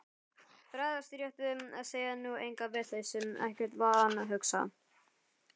Bregðast rétt við, segja nú enga vitleysu, ekkert vanhugsað.